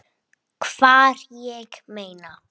Hvar, ég meina.